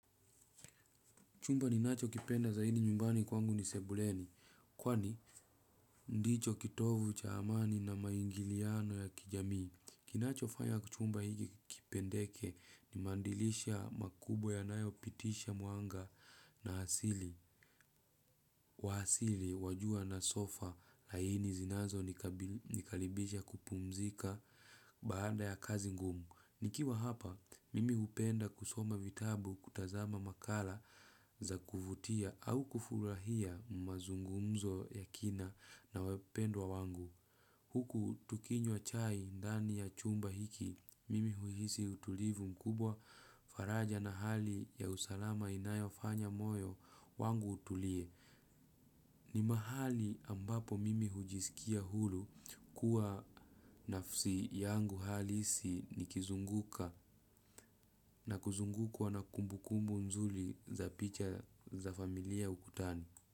Chumba ninachokipenda zaidi nyumbani kwangu ni sebuleni, kwani ndicho kitovu cha amani na maingiliano ya kijamii. Kinachofanya chumba kipendeke, ni mandilisha makubwa yanayopitisha mwanga na asili. Wa asili wa jua na sofa, laini zinazonikaribisha kupumzika baada ya kazi ngumu. Nikiwa hapa, mimi hupenda kusoma vitabu, kutazama makala za kuvutia au kufurahia mazungumzo ya kina na wapendwa wangu. Huku tukinywa chai ndani ya chumba hiki, mimi huhisi utulivu mkubwa, faraja na hali ya usalama inayofanya moyo wangu utulie. Ni mahali ambapo mimi hujisikia huru kuwa nafsi yangu halisi nikizunguka na kuzungukwa na kumbu kumbu nzuri za picha za familia ukutani.